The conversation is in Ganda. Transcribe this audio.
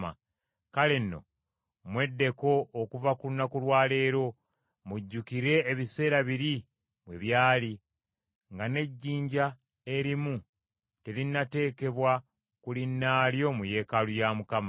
“ ‘Kale nno, mweddeko okuva ku lunaku lwa leero, mujjukire ebiseera biri bwe byali, nga n’ejjinja erimu terinnateekebwa ku linnaalyo mu yeekaalu ya Mukama .